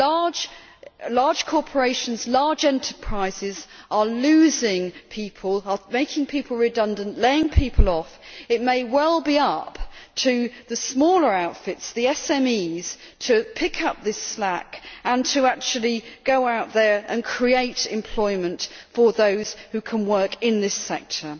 If large corporations and large enterprises are losing people, making people redundant and laying people off, it may well be up to the smaller outfits the SMEs to pick up this slack and to actually go out there and create employment for those who can work in this sector.